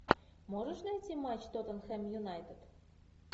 можешь найти матч тоттенхэм юнайтед